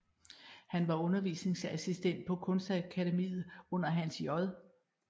Han var undervisningsassistent på Kunstakademiet under Hans J